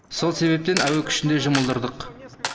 сол себептен әуе күшін де жұмылдырдық